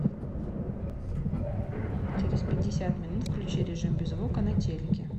через пятьдесят минут включи режим без звука на телике